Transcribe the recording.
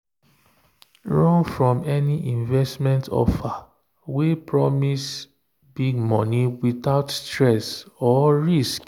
run from any investment offer wey promise big money without stress or risk.